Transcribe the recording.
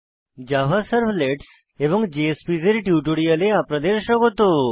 Java servlets এবং JSPs এর টিউটোরিয়ালে আপনাদের স্বাগত